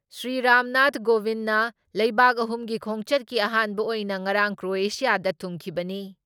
ꯁ꯭ꯔꯤ ꯔꯥꯝꯅꯥꯊ ꯀꯣꯅꯤꯟꯗ ꯂꯩꯕꯥꯛ ꯑꯍꯨꯝꯒꯤ ꯈꯣꯡꯆꯠꯀꯤ ꯑꯍꯥꯟꯕ ꯑꯣꯏꯅ ꯉꯔꯥꯡ ꯀ꯭ꯔꯣꯑꯦꯁꯤꯌꯥꯗ ꯊꯨꯡꯈꯤꯕꯅꯤ ꯫